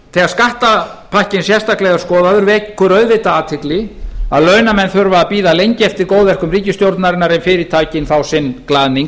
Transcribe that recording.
þegar skattapakkinn sérstaklega er skoðaður vekur auðvitað athygli að launamenn þurfa að bíða lengi eftir góðverkum ríkisstjórnarinnar en fyrirtækin fá sinn glaðning